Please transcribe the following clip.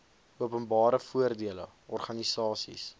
openbare voordele organisasies